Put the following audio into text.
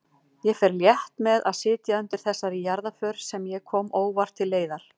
Ég fer létt með að sitja undir þessari jarðarför sem ég kom óvart til leiðar.